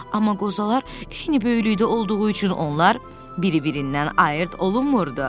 Amma qozalar eyni böyüklükdə olduğu üçün onlar bir-birindən ayırd olunmurdu.